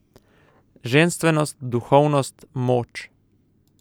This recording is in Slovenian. Ženstvenost, duhovnost, moč.